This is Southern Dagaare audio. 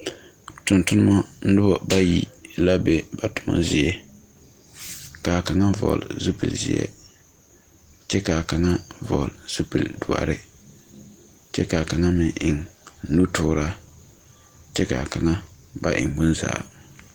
Tungtumba nuba bayi la be ba tuma zeɛ kaa kanga vɔgle zupili zie kye ka kanga vɔgle zupili dɔri kye ka kanga meng eng nutuura kye ka kanga ba eng bunzaa.